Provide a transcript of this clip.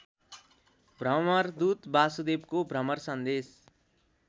भ्रमरदूत वासुदेवको भ्रमरसन्देश